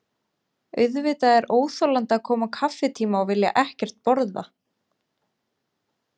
Auðvitað er óþolandi að koma á kaffitíma og vilja ekkert borða.